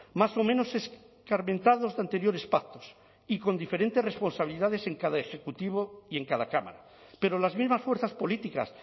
más o menos escarmentados de anteriores pactos y con diferentes responsabilidades en cada ejecutivo y en cada cámara pero las mismas fuerzas políticas